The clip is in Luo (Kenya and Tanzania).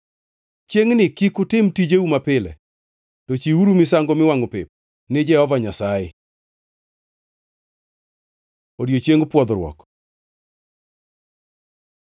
Chiengʼni kik utim tijeu mapile, to chiwuru misango miwangʼo pep ni Jehova Nyasaye.’ ” Odiechieng Pwodhruok